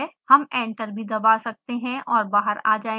हम एंटर भी दबा सकते हैं और बाहर आ जायेंगे